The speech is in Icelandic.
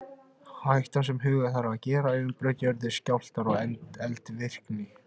Hættan sem huga þarf að er umbrot í jörðu, skjálftar og eldvirkni.